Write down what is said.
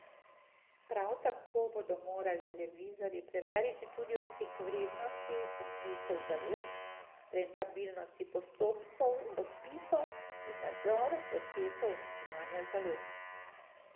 Han sicer podrobnosti ni želel razkriti, je pa dejal, da so pridržane že zaslišali.